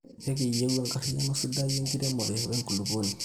ikiyieu enariayiano sidai enkiremore we nkulupuono